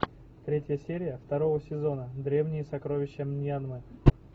третья серия второго сезона древние сокровища мьянмы